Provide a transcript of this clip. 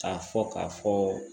K'a fɔ k'a fɔ